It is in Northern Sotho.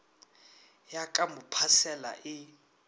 ya ka mo phasela e